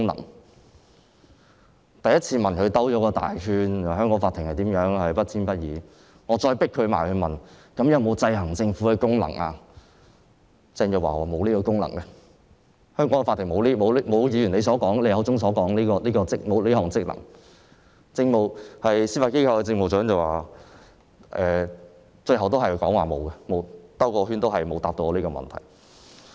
我第一次問時，政府繞了一個大圈，說香港的法庭不偏不倚，當我再追問，法庭有否制衡政府的功能時，鄭若驊說香港的法庭沒有議員口中所說的職能，而司法機構政務長最後也沒有回答我的問題。